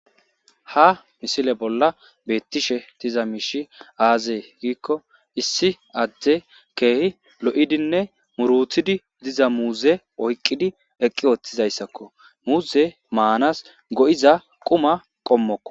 Ha misile bolla beettishe diza miishi aazee giikko issi adde keehi lo'idinne muruthidi diza muuze oyqqidi eqqi ooththizayssakko. muuze maanas go'iza quma qommokko.